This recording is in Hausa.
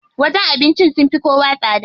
Wajen abincin sun fi kowa tsada.